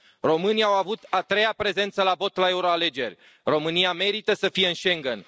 Românii au avut a treia prezență la vot la euroalegeri, România merită să fie în Schengen.